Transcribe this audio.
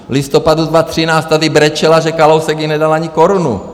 V listopadu 2013 tady brečela, že Kalousek jí nedal ani korunu.